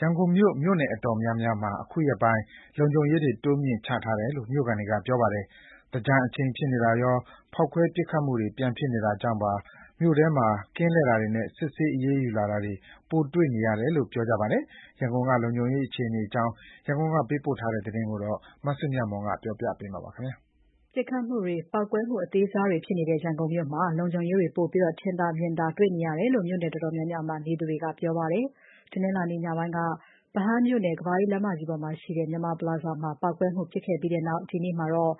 ရန်ကုန်မြို့ မြိုနယ်တော်တော်များများမှာ အခုရက်ပိုင်း လုံခြုံရေးတွေ တိုးမြှင့်ချထားတယ်လို့ မြို့ခံတွေက ပြောပါတယ်။ သင်္ကြန်အချိန်ဖြစ်နေတာရော ဖောက်ခွဲပစ်ခတ်မှုတွေ ပြန်ဖြစ်နေတာကြောင့် မြို့ထဲမှာ ကင်းလှည့်တာတွေ နဲ့စစ်ဆေးအရေးယူလာတာတွေ ပိုတွေ့နေရတယ်လို့ ပြောပြကြပါတယ်။ ရန်ကုန်က လုံခြုံရေးအခြေအနေအကြောင်း ရန်ကုန်ကပေးပို့တဲ့သတင်းကို မစုမြတ်မွန်က တင်ပြပေးထားပါတယ်။ ပစ်ခတ်မှုတွေ၊ ပေါက်ကွဲမှုအသေးစားတွေဖြစ်နေတဲ့ ရန်ကုန်မြို့မှာ လုံခြုံရေးတွေကို ပိုပြီး မြင်သာ ထင်သာတေ့ွနေရတယ်လို့ မြို့နယ်တော်တော်များများမှာ နေသူတွေက ပြောပါတယ်။ တနင်္လာနေ့ ညပိုင်းက ဗဟန်းမြို့နယ် ကမ္ဘာအေးလမ်းမကြီးပေါ်မှာရှိတဲ့ မြန်မာပလာဇာမှာ ပေါက်ကွဲမှုဖြစ်ခဲ့ပြီးနောက် ဒီနေ့မှာတော့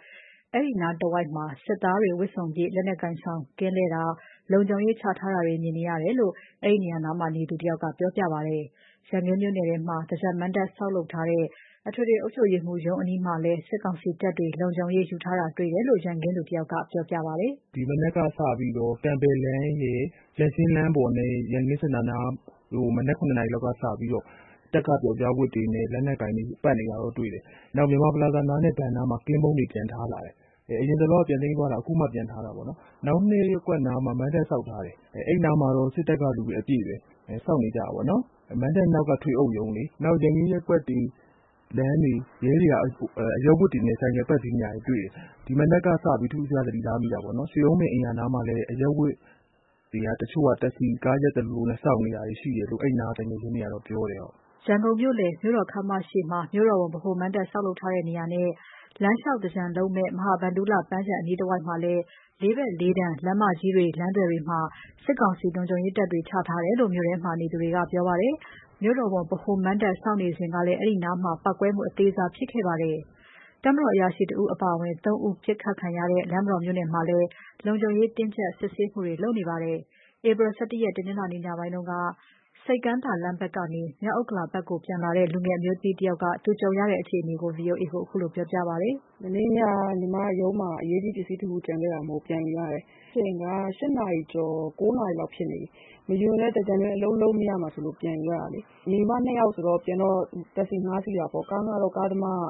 အဲဒီအနီးတဝိုက်မှာ စစ်သားတွေ ဝတ်စုံပြည့် လက်နက်ကိုင်ဆောင်ကာ ကင်းလှည့်တာ၊ လုံခြုံရေးချထားတာတွေ မြင်ရတယ်လို့ အဲဒီ နေရာအနီးတဝိုက်နေသူတွေက ပြောပါတယ်။ ရန်ကင်းမြို့နယ်ထဲမှာ သင်္ကြန်မဏ္ဍပ် ဆောက်လုပ်ထားတဲ့ အထွေထွေ အုပ်ချုပ်ရေးရုံးအနီးမှာလည်း စစ်ကောင်စီတပ်တွေ လုံခြုံရေးရယူထားတာတွေ့ရတယ်လို့ ရန်ကင်းသူတယောက်က ပြောပြပါတယ်။ “မနေ့က ပေါက်ကွဲတာကြောင့်လည်း ပါမှာပေါ့။ ဒီမနက်ကစလို့ ကန်ဘဲ့လမ်းရယ်၊ ရန်ရှင်းလမ်းပေါ်နဲ့ ရန်ကင်း စင်တာနားတို့ကို မနက် ၇ နာရီလောက်ကစပြီး တပ်ကပြောက်ကျားဝတ်တွေနဲ့ လက်နက်တွေကိုင် ပတ်နေတာတွေ့တယ်။ နောက် မြန်မာပလာဇာနားနဲ့ ဘဏ်နားမှာ ကင်းပုန်းတွေပြန်ထားလာတယ်။ အရင်တလောက ပြန်သိမ်းသွားတာ ခုမှပြန်ထားတယ်။ နောက် ၂ ရပ်ကွက်နားမှာ မဏ္ဍပ်ဆောက်ထား တယ်။ သူတို့ဘက်က ဆောက်တာ။ အဲနားမှာတော့ စစ်တပ်ကလူတွေ အပြည့်ပဲ။ စောင့်နေတာ။ မဏ္ဍပ်နောက်က ထွေအုပ်ရုံးလေ။ နောက် ရန်ကင်းရပ်ကွက်တွေ လမ်းထဲ ရဲတွေက အရပ်ဝတ်နဲ့ ဆိုင်ကယ်စီး ပတ်နေတာမျိုးတွေလုပ်တယ်။ ဒီမနက်က စ ထူးထူးခြားခြားသတိထားမိတယ်။ ရွှေအုံးပင် အိမ်ယာနားမှာလည်း အရပ်ဝတ်တချို့တက္ကစီကား ရပ်သလိုလိုနဲ့စောင့်နေတာတွေရှိတယ်လို့ အဲဒီနားမှာနေတဲ့ သူငယ်ချင်းကပြောတယ်။” ရန်ကုန်မြို့နယ် မြို့တော်ခန်းမရှေ့မှာ ရန်ကုန်မြို့တော်ဝန် ဗဟိုမဏ္ဍုပ်ဆောက်ထားတဲ့နေရာနဲ့ လမ်းလျှောက် သင်္ကြန်လုပ်မယ့် မဟာဗန္ဓုလ ပန်းခြံနားအနီးတဝိုက်မှာလည်း လေးဘက်လေးတန်မှာ လမ်းမကြီးတွေ လမ်းသွယ်တွေမှာ စစ်ကောင်စီလုံခြုံရေးတပ်တွေ ချထားတယ်လို့ မြို့ထဲမှာ နေသူတွေက ပြောပြပါတယ်။ မြို့တော်ဝန် ဗဟိုမဏ္ဍပ် ဆောက်နေစဉ်ကလည်း အဲဒီနားမှာ ပေါက်ကွဲမှု အသေးစား ဖြစ်ခဲ့ပါတယ်။ တပ်မတော်အရာရှိတဦးအပါအဝင် ၃ ဦး ပစ်ခတ်ခံရတဲ့ လမ်းမတော်မြို့နယ်မှာလည်း လုံခြုံရေးတင်းကြပ်စစ်ဆေးမှုတွေ လုပ်နေပါတယ်။ ဧပြီ ၁၁ရက် တနင်္လာနေ့ ညပိုင်းက မြို့ ဆိပ်ကမ်းသာလမ်းဘက်ကနေ မြောက်ဥက္ကလာဘက်ကို ပြန်လာတဲ့ လူငယ် အမျိုးသမီးတယောက် ကြုံရတဲ့ အခြေအနေကို ဗွီအိုအေကို ခုလိုပြောပြပါတယ်။ “မနေ့ညက ညီမ ရုံးမှာအရေးကြီး ပစ္စည်းတခုကျန်ခဲ့တာမို့ ပြန်ယူရတယ်။ ခန့်မှန်းချိန်က ၈ နာရီကျော်လောက် ၉ နာရီလောက်ဖြစ်နေပြီ။ မယူရင် သင်္ကြန်တွင်း အလုပ် လုပ်မရလို့ ပြန်ယူရတာ။ ညီမ ၂ ယောက်ပြန်တော့ တက္ကစီငှား စီးတာပေါ့။ ကားငှားတော့ ကားသမားက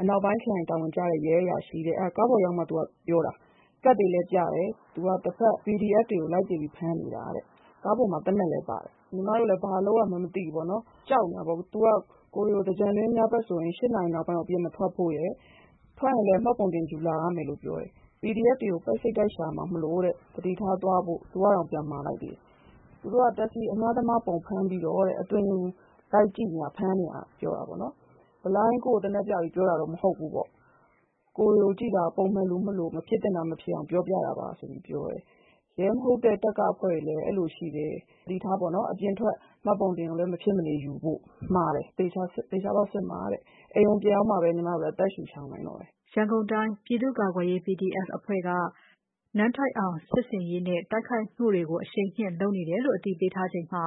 အနောက်ပိုင်းခရိုင် တာဝန်ကျတဲ့ ရဲအရာရှိတဲ့။ ကတ်တွေလည်း ပြတယ်။ သူက တဘက် PDF တွေကို လိုက်ပစ်ဖမ်းနေတာ။ ကားပေါ်မှာသေနတ်လည်း ပါတယ်။ ကိုယ်လည်း ဘာလုပ်ရမှန်းမသိဘူး။ သူက ကိုယ်တွေကို သင်္ကြန်တွင်း ညဘက် ၈ နာရီနောက်ပိုင်းမထွက်ဖို့၊ ထွက်ရင်လည်း မှတ်ပုံတင်ယူလာဖို့ပြောတယ်။ PDF တွေကို ပိုက်စိပ်တိုက်ရှာမှာမို့ သတိထားသွားဖို့ သူကတောင် မှာတယ်။ သူတို့က တက္ကစီအငှားသမားပုံစံဖမ်း အသွင်ယူ လိုက်ကြည့်ဖမ်းတာနေတာ။ ဘလိုင်းကြီး ကိုယ့်ကိုသေနတ်ပြ ပြောတာတော့မဟုတ်ဘူး။ ကိုယ်တွေကိုကြည့်တာ ပုံမှန်လူမလို့ မဖြစ်သင့်တာမဖြစ်အောင် ပြောပြတာပါလို့ ပြောတယ်။ ရဲမဟုတ်တဲ့ တပ်ကအဖွဲ့တွေလည်း အဲလို ရှိတယ်။ သတိထား”..တဲ့။ အပြင်ထွက်ရင် မှတ်ပုံတင် မဖြစ်မနေယူဖို့ မှာတယ်။ စစ်မှာပြောတယ်။ အိမ်ကို ပြန်ရောက်မှ အသက်ရှုနိုင်တယ်။” ရန်ကုန်တိုင်း ပြည်သူ့ကာကွယ်ရေး PDF အဖွဲ့က တိုက်ခိုက်မှုတွေကို အရှိန်မြှင့်လုပ်နေတယ်လို့ အသိပေးထားချိန်မှာ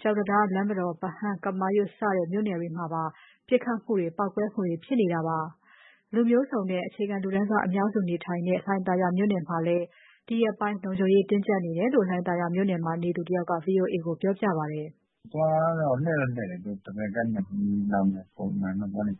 ကျောက်တံတား၊ လမ်းမတော်၊ ဗဟန်း၊ ကမာရွတ် စတဲ့ မြို့နယ်တွေမှာပါ ပစ်ခတ်မှုတွေ ပေါက်ကွဲမှုတွေဖြစ်နေတာပါ။ လူမျိုးစုံနဲ့ အခြေခံလူတန်းစားအများစုနေထိုင်တဲ့ လှိုင်သာယာမြို့နယ်မှာလည်း ဒီရက်ပိုင်း လုံခြုံရေး တင်းကျပ်နေတယ်လို့ လှိုင်သာယာမြို့နယ်မှာ နေသူတယောက်က ဗွီအိုအေကို ပြောပြပါတယ်။ “တခြားဟာတော့မတွေ့ဘူး။ ကင်းတော့လှည့်တယ်။ ဒက်ဗယ်ကပ်နဲ့သွားနေကြတယ်။ နဂိုပုံမှန်တိုင်း နာရီ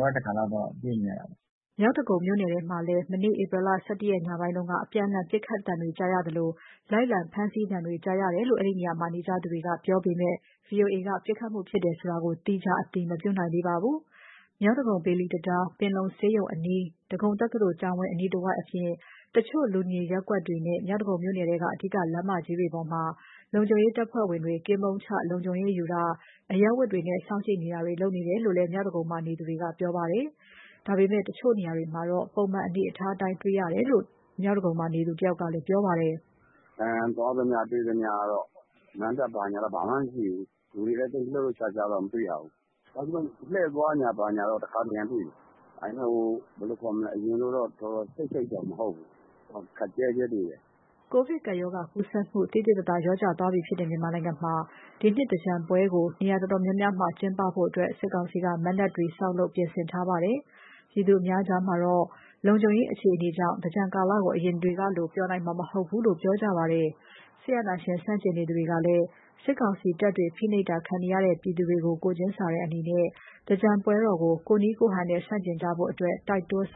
ဝက်တခါလိုတွေ့နေရတာပေါ့။” မြောက်ဒဂုံမြို့နယ်မှာလည်း မနေ့ ဧပြီ ၁၁ ရက်ညပိုင်းကလည်း အပြန်အလှန် ပစ်ခတ်သံတွေကြားရသလို လိုက် လံ ဖမ်းဆီးတာတွေ ကြားရတယ်လို့ အဲဒီနေရာမှာနေကြသူတွေက ပြောပေမယ့် ဗွီအိုအေက ပစ်ခတ်မှုဖြစ်တယ်ဆိုတာ သီးခြားအတည်မပြုနိုင်သေးပါဘူး။ မြောက်ဒဂုံ ဘေလီတံတား၊ ပင်လုံဆေးရုံအနီး၊ ဒဂုံတက္ကသိုလ်ကျောင်းအနီးတဝိုက်အပြင် တချို့ လူနေရပ်ကွက်တွေနဲ့ မြောက်ဒဂုံမြို့နယ်ထဲက အဓိကလမ်းမကြီးတွေမှာ လုံခြုံရေးတပ်ဖွဲ့ ဝင်တွေ ကင်းပုန်းချ လုံခြုံရေးယူထားတာ၊ အရပ်ဝတ်တွေနဲ့ စောင့်ကြည့်နေတာတွေ လုပ်နေတယ်လို့ မြောက်ဒဂုံမှာ နေသူတွေက ပြောပါတယ်။ မြောက်ဒဂုံ တချို့နေရာတွေမှာတော့ ပုံမှန်အနေအထားအတိုင်း တေ့ွရတယ်လို့ ပြောကြပါတယ်။ “သွားသမျှ ဘာညာမှာတော့ မဏ္ဍပ်တွေ ဘာညာတော့ ဘာမှမရှိဘူး။ လူတွေလည်း လှုပ်လှုပ်ရှားရှား မတွေ့ရဘူး။ ကင်းလှည့်သွားတာတွေတော့ တခါတရံတွေ့တယ်။ အရင်လို ခပ်စိတ်စိတ်ရယ်မဟုတ်ဘူး။ ခပ်ကျဲကျဲတွေ့တယ်။” ကိုဗစ်ကပ်ရောဂါကူးစက်မှု သိသိသာသာ လျော့ကျသွားပြီဖြစ်တဲ့ မြန်မာနိုင်ငံမှာ ဒီနှစ် သင်္ကြန်ပွဲကို နေရာတော်တော်များများမှာကျင်းပဖို့ စစ်ကောင်စီက မဏ္ဍုပ်တွေ ဆောက်လုပ်ပြင်ဆင်ထားပါတယ်။ ပြည်သူအများကြားမှာတော့ လုံခြုံရေးအခြေအနေကြောင့် သင်္ကြန်ကာလကို အရင်အချိန်တွေကလို ပျော်နိုင်မှာမဟုတ်ဘူးလို့ ပြောကြပါတယ်။ စစ်အာဏာရှင် ဆန့်ကျင်နေသူတွေကလည်း စစ်ကောင်စီတပ်တွေ ဖိနှိပ်တာခံနေရတဲ့ ပြည်သူတွေကို ကိုယ် ချင်းစာတဲ့အနေနဲ့ သင်္ကြန်ပွဲတော်ကို ကိုယ့်နည်းကိုယ့်ဟန်နဲ့ဆန့်ကျင်ကြဖို့ တိုက်တွန်းဆေ